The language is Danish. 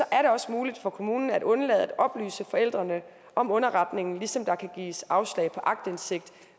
er det også muligt for kommunen at undlade at oplyse forældrene om underretningen ligesom der kan gives afslag på aktindsigt